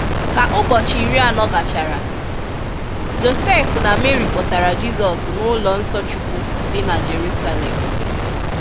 Kà ụ̀bọchị iri anọ gàchàrà, Josef na Mary kpọ̀tárà Jisọs n'ụlọ nso Chúkwú dị na Jerusalem.